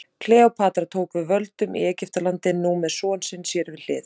Kleópatra tók við völdum í Egyptalandi, nú með son sinn sér við hlið.